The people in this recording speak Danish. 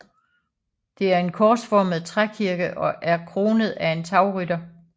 Det er en korsformet trækirke og er kronet af en tagrytter